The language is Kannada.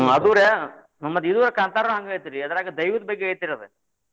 ಅದು ರೀ ಮತ್ತ್ ಇದು ಕಾಂತಾರಾನು ಹಂಗ್ ಐತ್ರಿ ಅದ್ರಾಗ ದೈವದ ಬಗ್ಗೆ ಐತ್ರಿ ಅದ್.